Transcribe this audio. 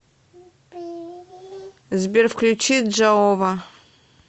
сбер включи джаова